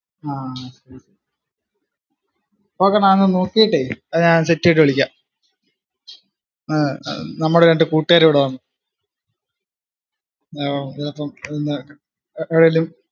ആഹ് okay ഞാ ഒന്നു നോക്കിയിട്ട് അത്ഞാൻ set എയ്തിട്ട വിളിക്കാ ഏർ നമ്മടെ രണ്ട് കൂട്ടുകാർ ഇവിടെ വന്ന്. ചെലപ്പോ ഇന്ന്